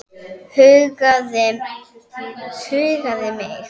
Huggaði mig.